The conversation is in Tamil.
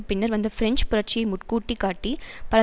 பின்னர் வந்த பிரெஞ்சு புரட்சியை முற்கூட்டி காட்டி பல